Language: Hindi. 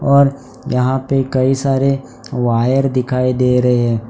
और यहां पे कई सारे वायर दिखाई दे रहे हैं।